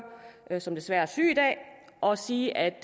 som desværre er syg i dag og sige at